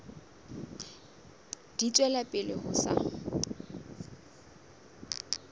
di tswela pele ho sa